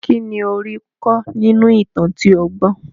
Kínní ó rí kọ́ nínú ìtàn tí ó gbọ́?